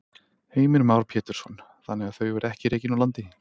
Heimir Már Pétursson: Þannig að þau verði ekki rekin úr landi?